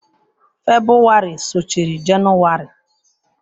Febụwarị sochiri Jenụwarị.